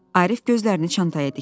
Arif gözlərini çantaya dikdi.